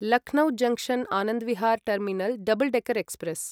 Lucknow junction Anand Vihar terminal double decker express